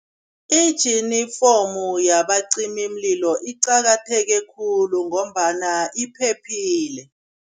Ijinifomu yabacimimlilo iqakatheke khulu ngombana iphephile.